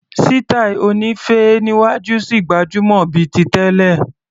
Sítáì oní féé níwájú ṣì gbajúmọ̀ bíi ti tẹ́lẹ̀.